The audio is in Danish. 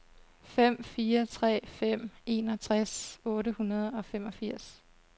fem fire tre fem enogtres otte hundrede og femogfirs